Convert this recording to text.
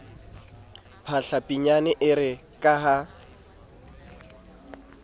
phahla pinyane ere ka ha